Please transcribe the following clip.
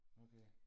okay